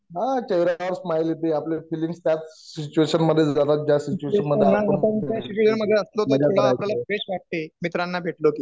हं चेहऱ्यावर स्माइल् येते आपल्या फीलिंग्ज त्या सिचूएशन मधे जाणार ज्या सिचूएशन आपण तर